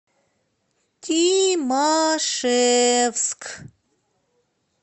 тимашевск